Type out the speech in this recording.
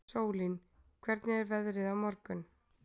Sólín, hvernig er veðrið á morgun?